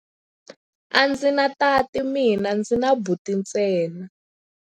A ndzi na tati mina, ndzi na buti ntsena.